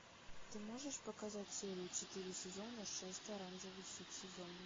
ты можешь показать серию четыре сезона шесть оранжевый хит сезона